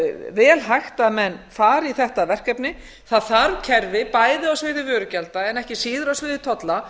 vel hægt að menn fari í þetta verkefni það þarf kerfi bæði á sviði vörugjalda en ekki síður á sviði tolla